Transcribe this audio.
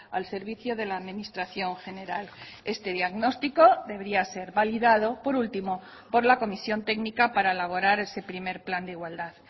al servicio de la administración general este diagnóstico debería ser validado por último por la comisión técnica para elaborar ese primer plan de igualdad